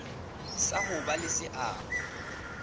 sa ho ba le seabo